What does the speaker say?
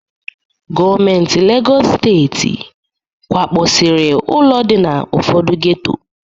Gọọmenti Legọs Steeti kwakpọsiri ụlọ dị na ụfọdụ geto.